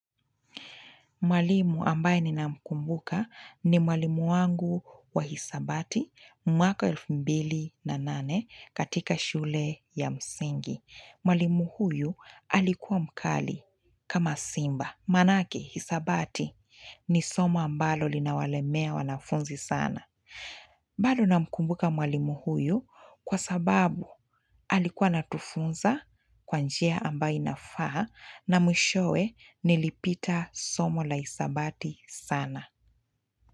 Mwalimu ambaye ninamkumbuka ni mwalimu wangu wa hisabati. Mwaka elfu mbili na nane katika shule ya msingi. Mwalimu huyu alikuwa mkali kama simba. Manake, hisabati ni somo ambalo linawalemea wanafunzi sana. Bado namkumbuka mwalimu huyu kwa sababu alikuwa anatufunza kwa njia ambayo inafaa na mwishowe nilipita somo la hisabati sana.